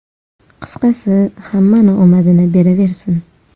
Qisqasi, hammani omadini beraversin.